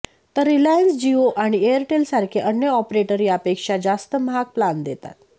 तर रिलायन्स जिओ आणि एअरटेल सारखे अन्य ऑपरेटर यापेक्षा जास्त महाग प्लान देतात